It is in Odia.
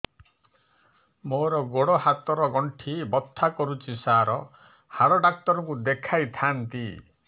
ମୋର ଗୋଡ ହାତ ର ଗଣ୍ଠି ବଥା କରୁଛି ସାର ହାଡ଼ ଡାକ୍ତର ଙ୍କୁ ଦେଖାଇ ଥାନ୍ତି